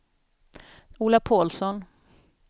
Ola Pålsson